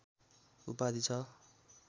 उपाधि छ